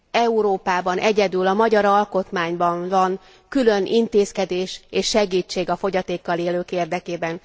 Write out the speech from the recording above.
Európában egyedül a magyar alkotmányban van külön intézkedés és segítség a fogyatékkal élők érdekében.